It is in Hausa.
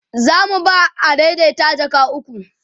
zamu ba adaidaita jaka ukwu